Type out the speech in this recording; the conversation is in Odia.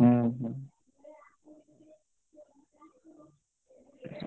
ହୁଁ ହୁଁ।